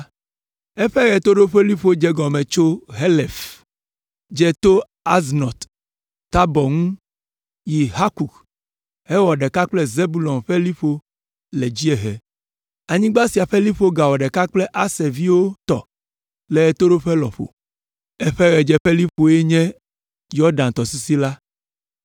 Eƒe ɣetoɖoƒeliƒo dze egɔme tso Helef, dze to Aznɔt Tabɔr ŋu yi Hukok hewɔ ɖeka kple Zebulon ƒe liƒo le dziehe. Anyigba sia ƒe liƒo gawɔ ɖeka kple Aser ƒe viwo tɔ le ɣetoɖoƒe lɔƒo. Eƒe ɣedzeƒeliƒoe nye Yɔdan tɔsisi la.